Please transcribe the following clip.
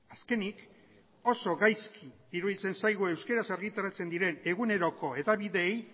azkenik oso gaizki iruditzen zaigu euskeraz argitaratzen diren eguneroko hedabideei